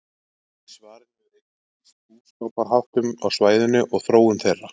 Í svarinu er einnig lýst búskaparháttum á svæðinu og þróun þeirra.